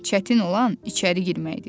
Çətin olan içəri girməkdir.